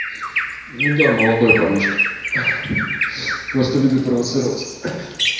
ну да молодой парнишка просто любит провоцировать